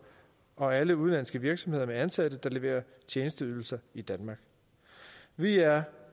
og alle udenlandske virksomheder med ansatte der leverer tjenesteydelser i danmark vi er